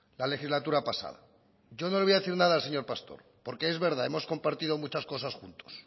la legislatura pasada yo no le voy a decir nada al señor pastor porque es verdad hemos compartido muchas cosas juntos